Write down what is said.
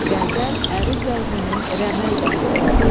Qəzəl əruz vəzninin rəməl bəhrindədir.